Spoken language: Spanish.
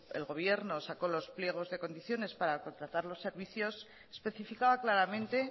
el gobierno sacó los pliegos de condiciones para contratar los servicios especificaba claramente